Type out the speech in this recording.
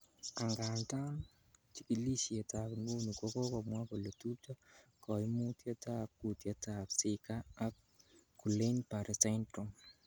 Angandan, chikilisietab nguni kokomwa kole tupcho koimutietab kutietab Zika ak Guillain Barre syndrome .